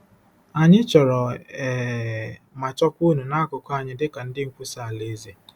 Anyị chọrọ um ma chọkwa unu n’akụkụ anyị dị ka ndị nkwusa Alaeze.